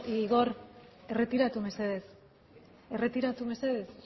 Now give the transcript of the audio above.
igor erretiratu mesedez erretiratu mesedez zure